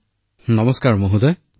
ডঃ মদন মণিঃ জী নমস্কাৰ ছাৰ